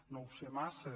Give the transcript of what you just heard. no ho sé massa